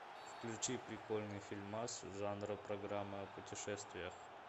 включи прикольный фильмас жанра программа о путешествиях